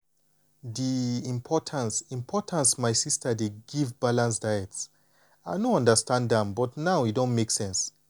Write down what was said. di importance importance my sister dey give balanced diets i bin no understand am but now e don make sense.